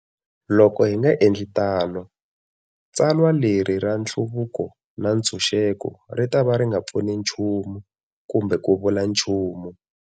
Loko hi nga endli tano, tsalwa leri ra nhluvuko ni ntshuxeko ri ta va ri nga pfuni nchumu kumbe ku vula nchumu.